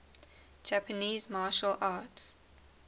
japanese martial arts